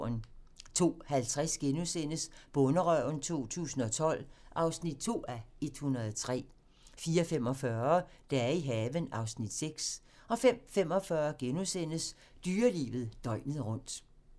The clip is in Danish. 02:50: Bonderøven 2012 (2:103)* 04:45: Dage i haven (Afs. 6) 05:45: Dyrelivet døgnet rundt *